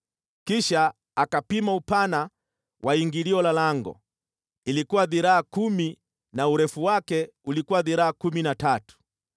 Kisha akapima upana wa ingilio la lango, ilikuwa dhiraa kumi na urefu wake ulikuwa dhiraa kumi na tatu.